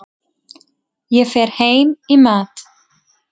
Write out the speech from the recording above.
Ég fer heim í mat.